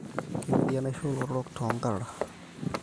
Kemiri enaishoo olotorok too nkarara